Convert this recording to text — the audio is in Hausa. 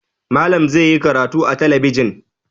Malam zai yi karatu a talabijin.